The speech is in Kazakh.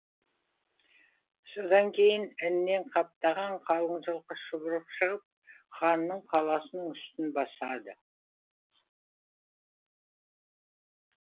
содан кейін іннен қаптаған қалың жылқы шұбырып шығып ханның қаласының үстін басады